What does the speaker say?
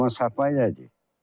Dərman səpmək nədir?